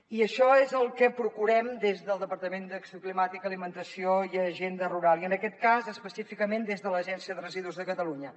i això és el que procurem des del departament d’acció climàtica alimentació i agenda rural i en aquest cas específicament des de l’agència de residus de catalunya